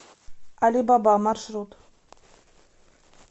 али баба маршрут